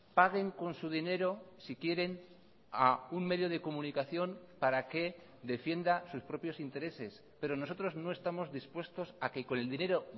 paguen con su dinero si quieren a un medio de comunicación para que defienda sus propios intereses pero nosotros no estamos dispuestos a que con el dinero